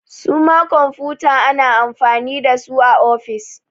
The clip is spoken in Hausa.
Su ma kwamfuta ana amfani da su a ofis